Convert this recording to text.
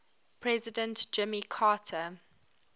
president jimmy carter